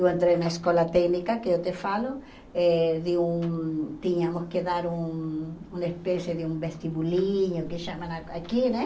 Eu entrei na escola técnica, que eu te falo, eh de um tínhamos que dar um uma espécie de um vestibulinho, que chamam aqui, né?